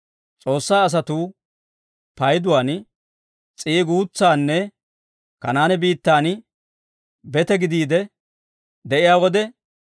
S'oossaa asatuu payduwaan s'ii guutsanne Kanaane biittan bete gidiide de'iyaa wode,